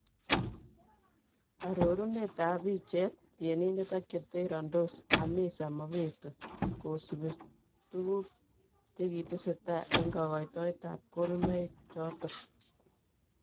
Arorunet ab bicheet, tyenindet ak cheterondos Hamisa Mobeto kosubii tukuk chekitesetai en kakoitoet ab konunoik choto.